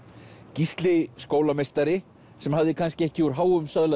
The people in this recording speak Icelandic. Gísli skólameistari sem hafði kannski ekki úr háum söðli